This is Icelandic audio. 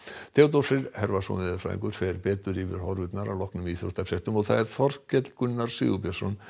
Theodór Freyr veðurfræðingur fer betur yfir horfurnar að loknum íþróttafréttum Þorkell Gunnar Sigurbjörnsson